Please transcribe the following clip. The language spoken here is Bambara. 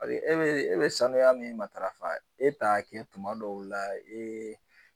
e bɛ e bɛ sanuya min matarafa e t'a kɛ tuma dɔw la